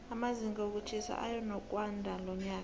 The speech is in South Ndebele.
amazinga wokutjhisa eyanokwandalonyaka